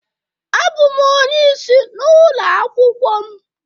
Abụ m onye isi n'ụlọ akwụkwọ m.